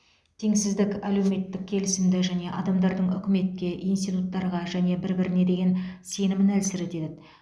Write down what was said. теңсіздік әлеуметтік келісімді және адамдардың үкіметке институттарға және бір біріне деген сенімін әлсіретеді